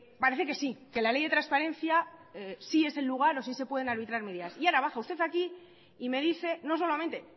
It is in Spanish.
parece que sí que la ley de transparencia sí es el lugar o sí se pueden arbitrar medidas y ahora baja usted aquí y me dice no solamente